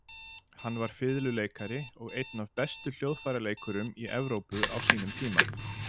Hann var fiðluleikari og einn af bestu hljóðfæraleikurum í Evrópu á sínum tíma.